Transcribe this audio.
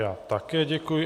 Já také děkuji.